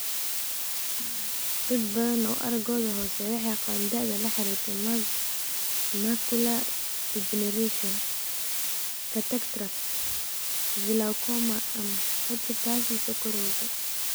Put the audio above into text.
Dad badan oo araggoodu hooseeyo waxay qabaan da'da la xiriirta macular degeneration, cataracts, glaucoma, ama retinopathy sonkorowga.